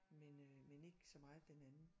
Men øh men ikke så meget den anden